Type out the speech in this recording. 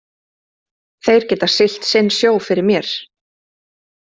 Þeir geta siglt sinn sjó fyrir mér.